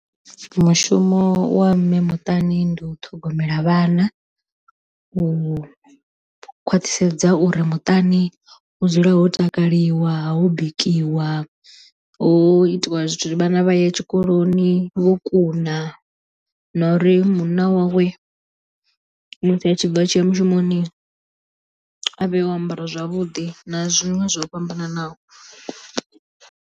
Mushumo wa mme muṱani ndi u ṱhogomela vhana, u khwaṱhisedza uri muṱani u dzule ho takaliwa ho bikiwa ho itiwa zwithu vhana vha ye tshikoloni vho kuna na uri munna wawe musi a tshi bva a tshiya mushumoni a vhe o ambara zwavhuḓi na zwiṅwe zwo fhambananaho.